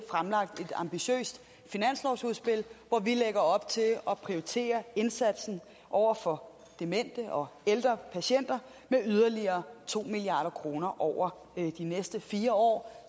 ambitiøst finanslovsudspil hvor vi lægger op til at prioritere indsatsen over for demente og ældre patienter med yderligere to milliard kroner over de næste fire år